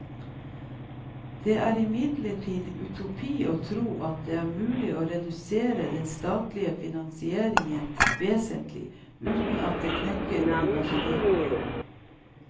Det er imidlertid utopi å tro at det er mulig å redusere den statlige finansiering vesentlig uten at det knekker universitetene.